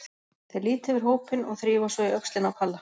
Þeir líta yfir hópinn og þrífa svo í öxlina á Palla.